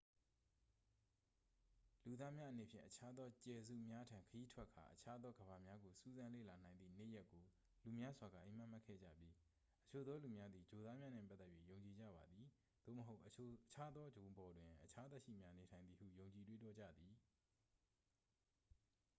လူသားများအနေဖြင့် အခြားသောကြယ်စုများထံ ခရီးထွက်ကာ အခြားသောကမ္ဘာများကို စူးစမ်း လေ့လာနိုင်သည့် နေ့ရက်ကို လူများစွာက အိပ်မက်မက်ခဲ့ကြပြီး အချို့သောလူများသည် ဂြိုလ်သားများနှင့်ပတ်သက်၍ ယုံကြည်ကြပါသည် သို့မဟုတ် အခြားသော ဂြိုလ်ပေါ်တွင် အခြား သက်ရှိများ နေထိုင်သည်ဟု ယုံကြည် တွေးတောကြသည်